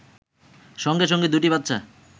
সঙ্গে সঙ্গে দুটি বাচ্চা